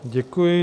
Děkuji.